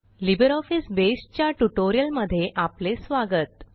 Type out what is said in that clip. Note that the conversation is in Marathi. लिब्रिऑफिस बसे च्या ट्युटोरियलमध्ये आपले स्वागत